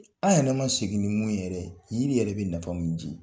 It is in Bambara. An yɛrɛ ma segi ni mun ye yɛrɛ yiri yɛrɛ bɛ nafa mun ji.